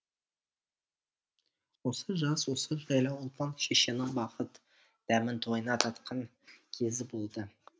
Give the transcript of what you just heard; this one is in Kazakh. осы жаз осы жайлау ұлпан шешенің бақыт дәмін тойына татқан кезі болды